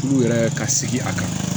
Furu yɛrɛ ka sigi a kan